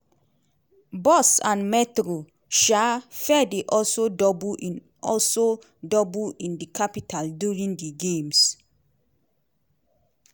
bus and metro um fare dey also double in also double in di capital during di games.